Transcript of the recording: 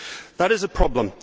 That is a problem.